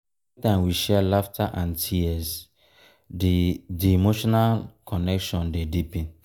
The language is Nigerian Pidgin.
we go through life together creating shared experiences dat bind us forever.